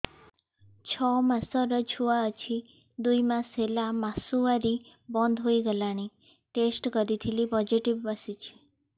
ଛଅ ମାସର ଛୁଆ ଅଛି ଦୁଇ ମାସ ହେଲା ମାସୁଆରି ବନ୍ଦ ହେଇଗଲାଣି ଟେଷ୍ଟ କରିଥିଲି ପୋଜିଟିଭ ଆସିଛି